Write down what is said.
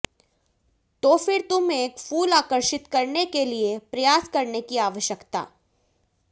तो फिर तुम एक फूल आकर्षित करने के लिए प्रयास करने की आवश्यकता